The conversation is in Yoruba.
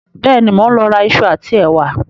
Bẹ́ẹ̀ni, mo ń lọ ra ìṣù àti ẹ̀wà